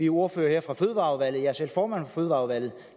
ordførerne fra fødevareudvalget jo selv formand for fødevareudvalget